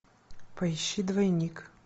поищи двойник